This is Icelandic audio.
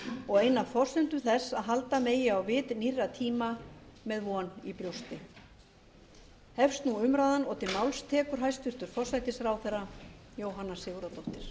og ein af forsendum þess að halda megi á vit nýrra tíma með von í brjósti hefst nú umræðan og til máls tekur hæstvirtur forsætisráðherra jóhanna sigurðardóttir